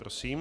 Prosím.